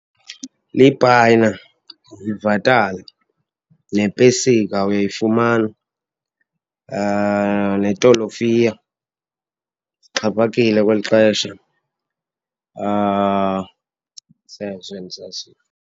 Lipayina, yivatala, nepesika uyayifumana netolofiya ixhaphakile kweli xesha. Zezo endizaziyo.